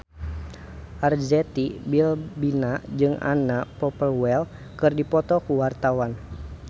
Arzetti Bilbina jeung Anna Popplewell keur dipoto ku wartawan